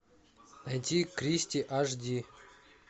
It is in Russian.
найти кристи аш ди